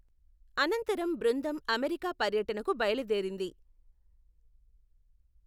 అనంతరం బృందం అమెరికా పర్యటనకు బయలుదేరింది.